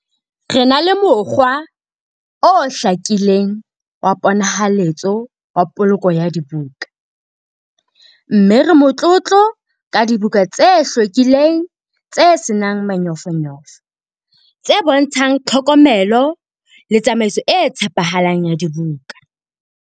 Re na le mokgwa o hlakileng wa ponahaletso wa poloko ya dibuka, mme re motlotlo ka dibuka tse hlwekileng tse se nang manyofonyofo, tse bontshang tlhokomelo le tsamaiso e tshepahalang ya dibuka.